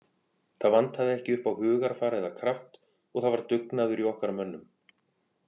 Það vantaði ekki upp á hugarfar eða kraft og það var dugnaður í okkar mönnum.